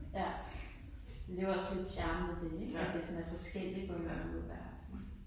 Ja. Men det jo også lidt charmen ved det ik at det sådan er forskelligt på en eller anden måde hver aften